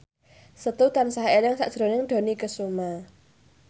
Setu tansah eling sakjroning Dony Kesuma